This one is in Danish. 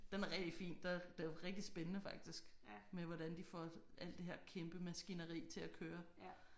Den er rigtig fin det rigtig spændende faktisk med hvordan de får alt det her kæmpe maskineri til at køre